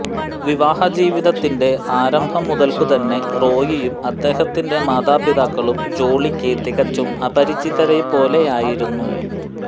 വിവാഹജീവിതത്തിന്റെ ആരംഭം മുതൽക്കുതന്നെ റോയിയും അദ്ദേഹത്തിന്റെ മാതാപിതാക്കളും ജോളിക്ക് തികച്ചും അപരിചിതരെപ്പോലെയായിരുന്നു